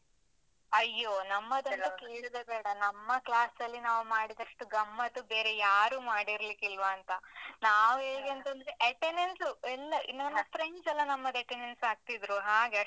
ಅಯ್ಯೋ ನಮ್ಮದೊಂದು ಕೇಳುದೇ ಬೇಡ, ನಮ್ಮ class ಅಲ್ಲಿ ನಾವು ಮಾಡಿದಷ್ಟು ಗಮ್ಮತು ಬೇರೆ ಯಾರೂ ಮಾಡಿರ್ಲಿಕ್ಕಿಲ್ವಾಂತ? ನಾವ್ ಹೇಗೆಂತಂದ್ರೆ attendance ಎಲ್ಲ ಈ ನಮ್ಮ friends ಎಲ್ಲ ನಮ್ಮದ್ attendance ಹಾಕ್ತಿದ್ರು, ಹಾಗೆ.